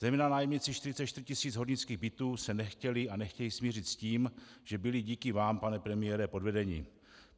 Zejména nájemníci 44 tisíc hornických bytů se nechtěli a nechtějí smířit s tím, že byli díky vám, pane premiére, podvedeni.